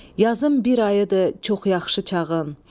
Yazın bir ayıdır, çox yaxşı çağın.